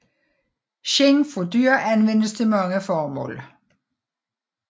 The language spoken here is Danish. Skind fra dyr anvendes til mange formål